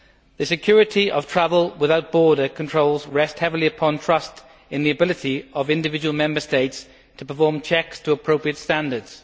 The security of travel without border controls rests heavily upon trust in the ability of individual Member States to perform checks to appropriate standards.